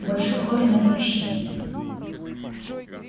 больше похоже на извращение